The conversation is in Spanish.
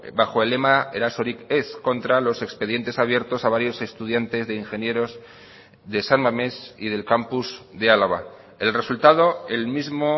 bajo el lema erasorik ez contra los expedientes abiertos a varios estudiantes de ingenieros de san mames y del campus de álava el resultado el mismo